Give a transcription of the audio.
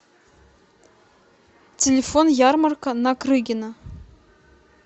телефон ярмарка на крыгина